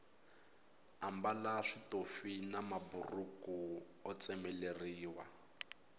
ambala switofi na maburhuku o tsemeleriwa